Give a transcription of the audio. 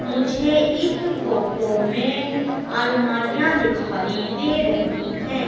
मुझे इस फोटो में अलमारियां दिखाई दे रही हैं।